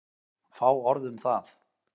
Fá orð um það.